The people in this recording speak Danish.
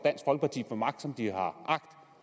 og magt som de har agt